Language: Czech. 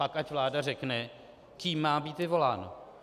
Pak ať vláda řekne, kým má být vyvoláno.